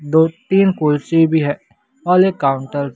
दो तीन कुर्सी भी है औल एक काउंटर --